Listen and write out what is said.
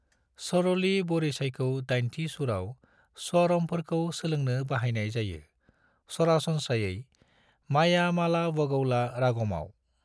सरली वरिसाईखौ दाइनथि सुराव स्वारमफोरखौ सोलोंनो बाहायनाय जायो, सरासनस्रायै मायामालवगौला रागमआव।